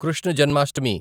Krishna Janmashtami